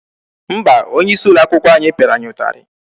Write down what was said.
Mba, onye isi ụlọ akwụkwọ anyị pịara ya ụtarị.